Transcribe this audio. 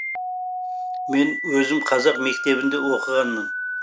мен өзім қазақ мектебінде оқығанмын